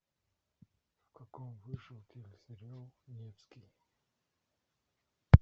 в каком вышел телесериал невский